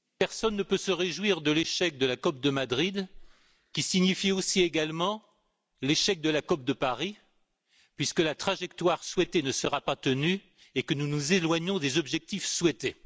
Madame la Présidente, personne ne peut se réjouir de l'échec de la COP de Madrid, qui signifie également l'échec de la COP de Paris, puisque la trajectoire souhaitée ne sera pas tenue et que nous nous éloignons des objectifs souhaités.